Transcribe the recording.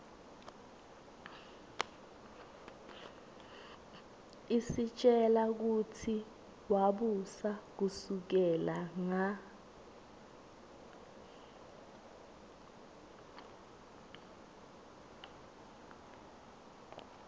isitjela kutsi wabusa kusukela nga